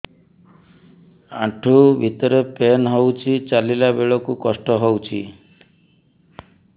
ଆଣ୍ଠୁ ଭିତରେ ପେନ୍ ହଉଚି ଚାଲିଲା ବେଳକୁ କଷ୍ଟ ହଉଚି